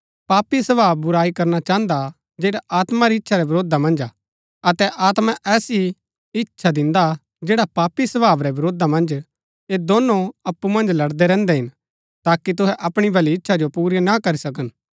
पापी स्वभाव बुराई करना चाहन्दा हा जैडा आत्मा री इच्छा रै वरोधा मन्ज है अतै आत्मा ऐसी इच्छा दिन्दा हा जैडा पापी स्वभाव रै वरोधा मन्ज ऐह दोनो अप्पु मन्ज लड़दै रैहन्दै हिन ताकि तुहै अपणी भली इच्छा जो पुरा ना करी सकन